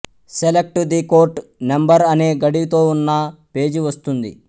select the court number అనే గడితోవున్న page వస్తుంది